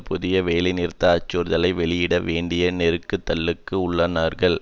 புதிய வேலை நிறுத்த அச்சுறுத்தலை வெளியிட வேண்டிய நெருக்கு தலுக்கு உள்ளானார்கள்